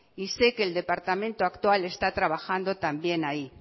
y sé que el departamento actual está trabajando también ahí